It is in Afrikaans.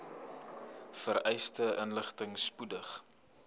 vereiste inligting spoedig